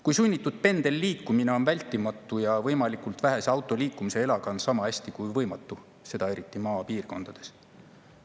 Kui sunnitud pendelliikumine on vältimatu ja võimalikult vähese autoliikumisega elamine on sama hästi kui võimatu, seda eriti maapiirkondades?